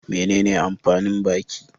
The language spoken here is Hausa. Menene amfanin baki?